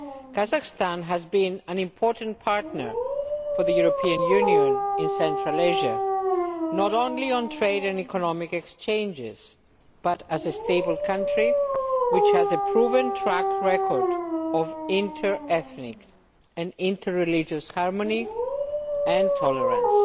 Kazakhstan has been an important partner for the EU in Central Asia, not only on trade and economic exchanges, but as a stable country which has a proven track record of inter ethnic and inter religious harmony and tolerance.